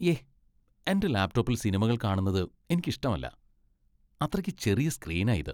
യേ! എന്റെ ലാപ്ടോപ്പിൽ സിനിമകൾ കാണുന്നത് എനിക്ക് ഇഷ്ടമല്ല. അത്രയ്ക്ക് ചെറിയ സ്ക്രീനാ ഇത്.